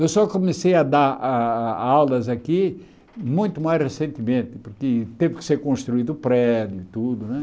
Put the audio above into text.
Eu só comecei a dar ah aulas aqui muito mais recentemente, que teve que ser construído o prédio e tudo né.